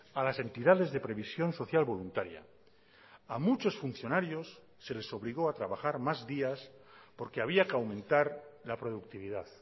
a las entidades de previsión social voluntaria a muchos funcionarios se les obligó a trabajar más días porque había que aumentar la productividad